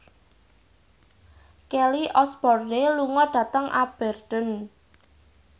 Kelly Osbourne lunga dhateng Aberdeen